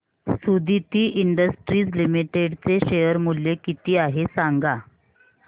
Suditi industries limited चे share मूल्य किती आहे सांगा